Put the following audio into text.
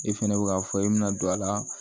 E fɛnɛ bɛ ka fɔ e bɛna don a la